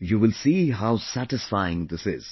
You will see how satisfying this is